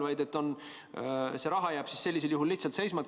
Aga see raha jääb sellisel juhul lihtsalt seisma.